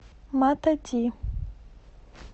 матади